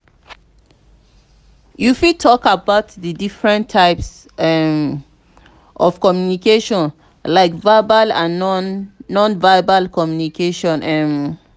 you fit talk about di different types um of communication like verbal and non-verbal communication. um